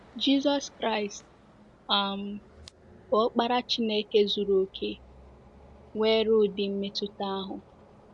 Jizọs Kraịst um, bụ́ Ọkpara Chineke zuru okè, nwere ụdị mmetụta ahụ.